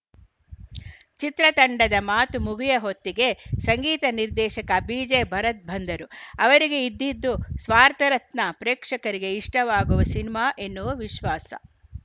ಚಿತ್ರತಂಡದ ಮಾತು ಮುಗಿಯ ಹೊತ್ತಿಗೆ ಸಂಗೀತ ನಿರ್ದೇಶಕ ಬಿಜೆ ಭರತ್‌ ಬಂದರು ಅವರಿಗೆ ಇದಿದ್ದು ಸ್ವಾರ್ಥರತ್ನ ಪ್ರೇಕ್ಷಕರಿಗೆ ಇಷ್ಟವಾಗುವ ಸಿನಿಮಾ ಎನ್ನುವ ವಿಶ್ವಾಸ